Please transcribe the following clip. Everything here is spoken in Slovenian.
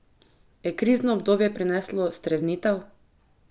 Je krizno obdobje prineslo streznitev?